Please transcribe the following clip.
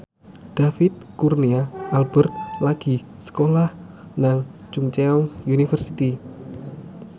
David Kurnia Albert lagi sekolah nang Chungceong University